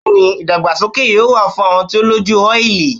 Yes, we will Foundation be needed for oily faces